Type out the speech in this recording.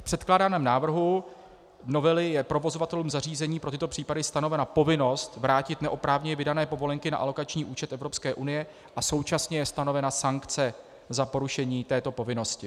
V předkládaném návrhu novely je provozovatelům zařízení pro tyto případy stanovena povinnost vrátit neoprávněně vydané povolenky na alokační účet EU a současně je stanovena sankce za porušení této povinnosti.